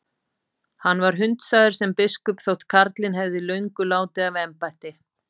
Hann var hundsaður sem biskup þótt karlinn hefði löngu látið af embætti.